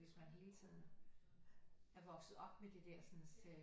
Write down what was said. Hvis man hele tiden er vokset op med det dersens øh